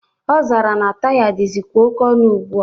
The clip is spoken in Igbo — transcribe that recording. Ọ zara na taya dịzikwa oke ọnụ ugbua.